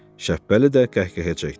Şəppəli də qəhqəhə çəkdi.